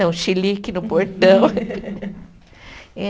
xilique no portão